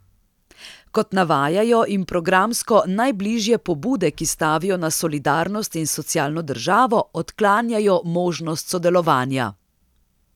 Kot navajajo, jim programsko najbližje pobude, ki stavijo na solidarnost in socialno državo, odklanjajo možnost sodelovanja.